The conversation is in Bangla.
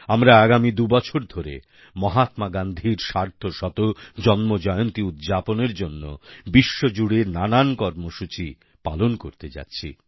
আমরা আগামী দুবছর ধরে মহাত্মাগান্ধীর সার্ধশত জন্মজয়ন্তী উদ্যাপনের জন্য বিশ্বজুড়ে নানান কর্মসূচি পালন করতে যাচ্ছি